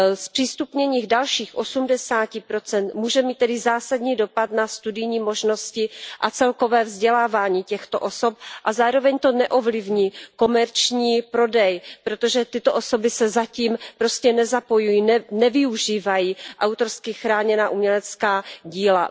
Zpřístupnění dalších 80 může mít tedy zásadní dopad na studijní možnosti a celkové vzdělávání těchto osob a zároveň to neovlivní komerční prodej, protože tyto osoby se zatím prostě nezapojují, nevyužívají autorsky chráněná umělecká díla.